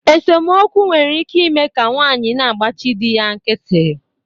Esomokwu nwere ike ime ka nwaanyị na-agbachi di ya nkịtị